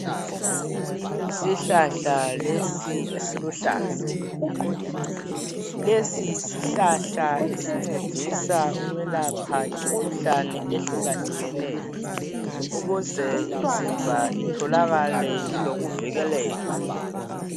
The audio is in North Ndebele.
Yisihlahla lesi esiluhlaza lesi yisihlahla esincedisa ukwelapha imikhuhlane ehluka hlukeneyo ukuze imizimba itholakale ilokuvikeleka.